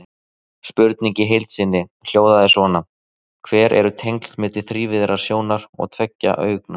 Spurningin í heild sinni hljóðaði svona: Hver eru tengslin milli þrívíðrar sjónar og tveggja augna?